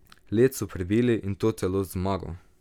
Led so prebili, in to celo z zmago.